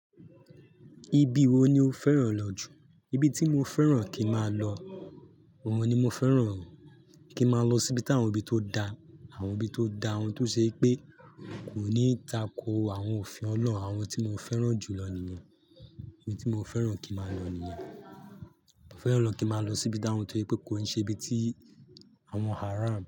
Ibi wo ni o fẹ́ràn lọ jù? Ibi tí mo fẹ́ràn kí máa lọ, òun ni mo fẹ́ràn kí máa lọ síbi táwọn ibi tó da, àwọn ibi tó da, ohun tó ṣe pé kò ní tako àwọn òfin Ọlọ́run, àwọn tí mo fẹ́ràn jù lọ nìyẹn. Ibi tí mo fẹ́ràn kí máa lọ nìyẹn. Mo fẹ́ràn kí máa lọ síbi táwọn tó ẹ pé kò ń ṣe ibi tí àwọn haram.